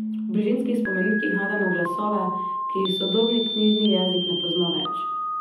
V Brižinskih spomenikih najdemo glasove, ki jih sodobni knjižni jezik ne pozna več.